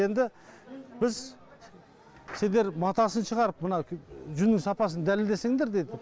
енді біз сендер матасын шығарып мына жүннің сапасын дәлелдесеңдер деді